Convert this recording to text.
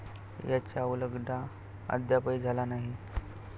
याचा उलघडा अद्यापही झाला नाही.